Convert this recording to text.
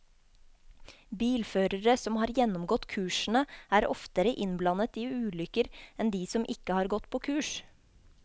Bilførere som har gjennomgått kursene, er oftere innblandet i ulykker enn de som ikke har gått på kurs.